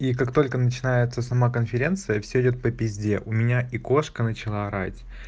и как только начинается сама конференция все идёт по пизде у меня и кошка начала орать